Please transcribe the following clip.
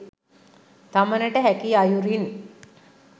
තමනට හැකි අයුරින්